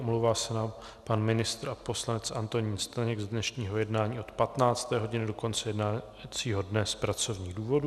Omlouvá se nám pan ministr a poslanec Antonín Staněk z dnešního jednání od 15. hodiny do konce jednacího dne z pracovních důvodů.